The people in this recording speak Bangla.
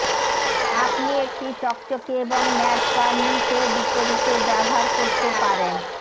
আপনি একটি চকচকে এবং ম্যাট বার্নিশ এর বিপরীতে ব্যবহার করতে পারেন